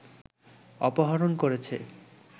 অপহরণ করেছে